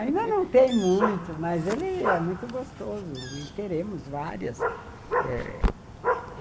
Ainda não tem muito, mas ele é muito gostoso e teremos várias.